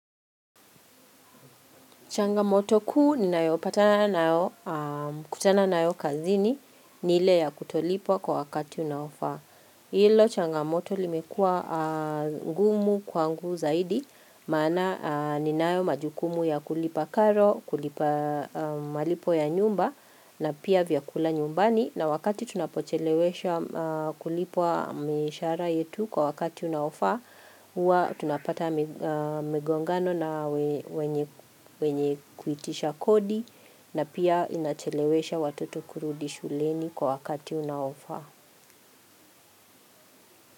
Changamoto kuu ninayopatana nayo kutana nayo kazini ni ile ya kutolipwa kwa wakati unaofaa. Hilo changamoto limekuwa ngumu kwangu zaidi maana ninayo majukumu ya kulipa karo, kulipa malipo ya nyumba na pia vyakula nyumbani. Na wakati tunapocheleweshwa kulipwa mishahara yetu kwa wakati unaofaa, huwa tunapata migongano na wenye wenye kuitisha kodi na pia inachelewesha watoto kurudi shuleni kwa wakati unaofaa.